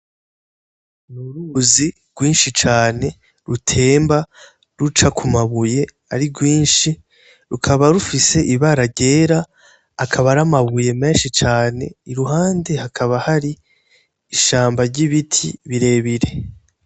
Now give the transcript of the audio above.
Ni uruzi rwinshi cane rutemba ruca ku mabuye ari rwinshi rukaba rufise ibara ryera akaba aramabuye menshi cane i ruhande hakaba hari ishambo ry'ibiti birebire.